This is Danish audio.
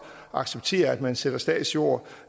acceptere at man sælger statsjord